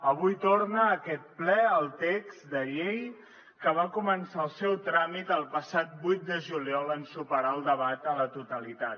avui torna a aquest ple el text de llei que va començar el seu tràmit el passat vuit de juliol en superar el debat a la totalitat